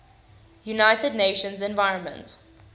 united nations environment